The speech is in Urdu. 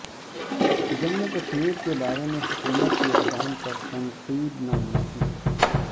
جموں و کشمیر کے بارے میں حکومت کے اقدام پر تنقید نامناسب